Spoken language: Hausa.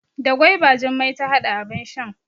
Da gwaiba Jummai ta hada abin shan.